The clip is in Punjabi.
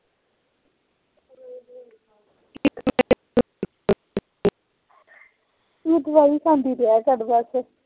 ਬਸ ਦਵਾਈ ਖਾ ਕੇ ਗਿਆ ਕਾਮ ਕਰ ਤੇ